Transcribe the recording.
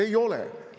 Ei ole!